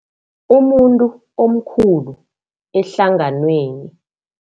Umuntu omkhulu ehlanganweni.